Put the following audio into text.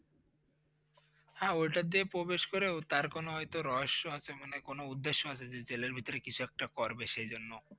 হ্যাঁ ওইটা দিয়ে প্রবেশ করে তার কোন হয়তো রহস্য আছে মনে হয় কোন উদ্দেশ্য আছে যে জেলের ভিতরে কিছু একটা করবে সেই জন্য।